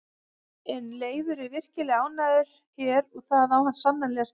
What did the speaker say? En Leifur er virkilega ánægður hér og það á hann sannarlega skilið.